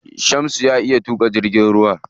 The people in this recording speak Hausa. Shamsu ya iya tuƙa jirgin ruwa.